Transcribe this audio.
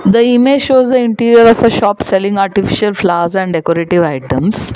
The image shows the interior of a shop selling artificial flowers and decorative items.